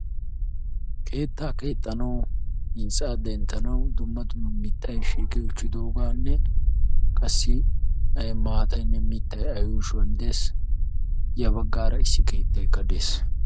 Keetta keexxanwu dumma dumma mittay shiiqqi uttiis ya bagan qassi dumma dumma mittayinne sohoy de'ees.